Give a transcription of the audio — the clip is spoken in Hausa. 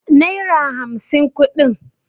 naira hamsin kudin